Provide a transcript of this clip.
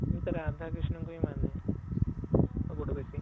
ମୁଁ ତ ରାଧା କୃଷ୍ଣ ଙ୍କୁ ହିଁ ମାନେ ସବୁଠୁ ବେଶୀ